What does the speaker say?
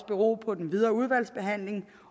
bero på den videre udvalgsbehandling